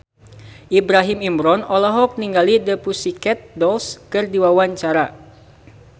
Ibrahim Imran olohok ningali The Pussycat Dolls keur diwawancara